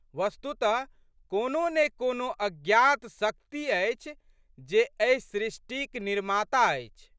वस्तुतः कोनो ने कोनो अज्ञात् शक्ति अछि जे एहि सृष्टिक निर्माता अछि।